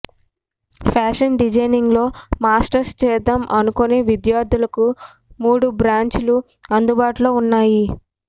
fashion డిజైనింగ్లో masters చేద్దాం అనుకునే విద్యార్థులకు మూడు బ్రాంచులు అందుబాటులో ఉన్నాయి